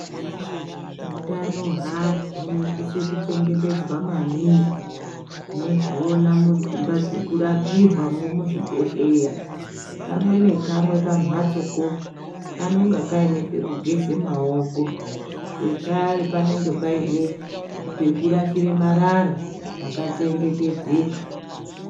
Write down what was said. Hutano hweanu hunosise kuchengetedzwa maningi tinozviona mudzimba dzekurapirwamo muzvibhedhlera kamwe nekamwe kumhatsoko kanonga kaine pekugeza maoko zvekare panenge Paine pekurashire marara pakachengetedzeka.